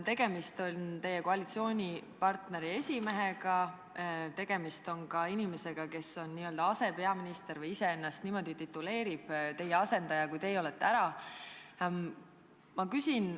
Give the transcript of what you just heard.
Tegemist on teie koalitsioonipartneri esimehega, tegemist on ka inimesega, kes on n-ö asepeaminister või kes ise ennast niimoodi tituleerib, ta on teie asendaja, kui te olete ära.